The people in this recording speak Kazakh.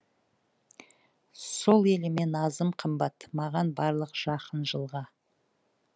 сол еліме назым қымбат маған барлық жақын жылға